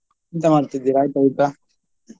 ಎಂತ ಮಾಡ್ತಿದ್ದೀರಾ, ಆಯ್ತಾ ಊಟ?